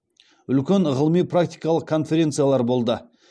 үлкен ғылыми практикалық конференциялар болды